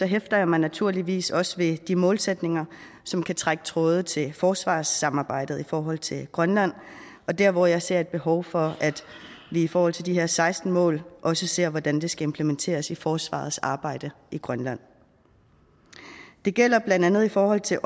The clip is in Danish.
hæfter jeg mig naturligvis også ved de målsætninger som kan trække tråde til forsvarssamarbejdet i forhold til grønland og der hvor jeg ser et behov for at vi i forhold til de her seksten mål også ser hvordan det skal implementeres i forsvarets arbejde i grønland det gælder blandt andet i forhold til